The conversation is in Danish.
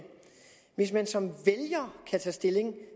hvis man som vælger kan tage stilling er